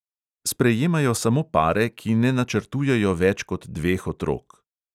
Sprejemajo samo pare, ki ne načrtujejo več kot dveh otrok.